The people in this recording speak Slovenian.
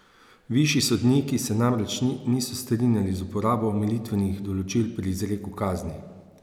Višji sodniki se namreč niso strinjali z uporabo omilitvenih določil pri izreku kazni.